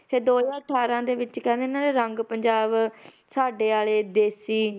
ਤੇ ਦੋ ਹਜ਼ਾਰ ਅਠਾਰਾਂ ਦੇ ਵਿੱਚ ਕਹਿੰਦੇ ਇਹਨਾਂ ਦੇ ਰੰਗ ਪੰਜਾਬ ਸਾਡੇ ਵਾਲੇ ਦੇਸੀ